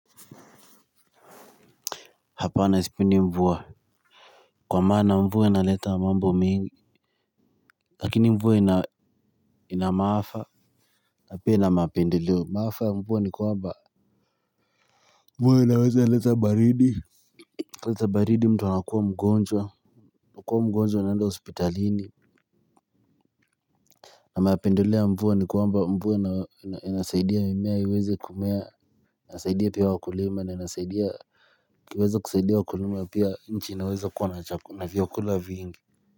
Hapana sipindi mvua, kwa maana mvua inaleta mambo mingi lakini mvua ina maafa na pia ina mapendeleo maafa mvua ni kwamba mvua inaweza leta baridi leta baridi mtu anakuwa mgonjwa kuwa mgonjwa uanaenda hospitalini na maapendoleo ya mvua ni kwamba mvua inasaidia mimea iweza kumea inasaidia pia wakulima na inasaidia kuweza kusaidia wakulima pia nchi inaweza kuwa na vyakula vingi.